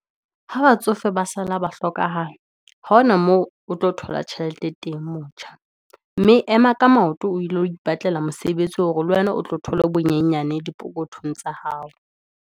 Ha batsofe ba sala ba hlokahala, ha hona moo o tlo thola tjhelete teng motjha, mme ema ka maoto o ile ho ipatlela mosebetsi, hore le wena o tlo thole bonyenyane di phokothong tsa hao.